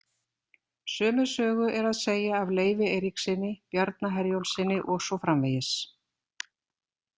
Sömu sögu er að segja af Leifi Eiríkssyni, Bjarna Herjólfssyni og svo framvegis.